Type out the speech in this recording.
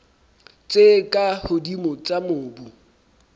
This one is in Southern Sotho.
tse ka hodimo tsa mobu